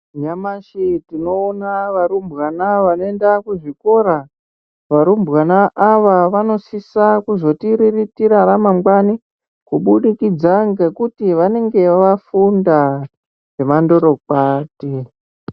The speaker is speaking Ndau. Nyamushi tinoona varumbwana vanoenda kuzvikora . Varumbwana ava vanosisa kuzotiriritira ramangwani kubudikidza ngekuti vanenge vafunda zvemandorokwati.